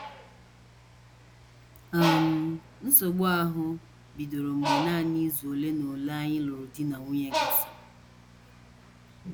“ um Nsogbu ahụ bidoro mgbe nanị izu ole na ole anyị lụrụ di na nwunye gasịrị.